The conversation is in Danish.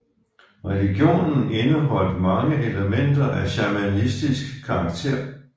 Religionen indeholdt mange elementer af shamanistisk karaktér